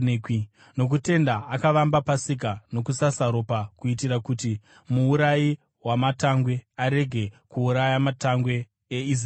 Nokutenda akavamba Pasika nokusasa ropa, kuitira kuti muurayi wamatangwe arege kuuraya matangwe eIsraeri.